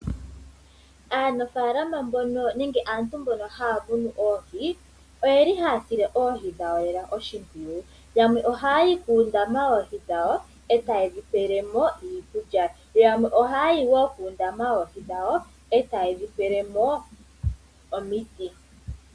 Aanafaalama mbono nenge aantu mbono haya munu oohi, oyeli haya sile oohi dhawo oshimpwiyu, yamwe ohayayi kuundama woohi dhawo eta yedhipele mo iikulya, yamwe ohayayi wo kuundama woohi dhawo eta yedhi pelemo omiti.